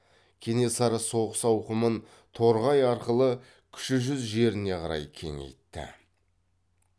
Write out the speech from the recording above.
кенесары соғыс ауқымын торғай арқылы кіші жүз жеріне қарай кеңейтті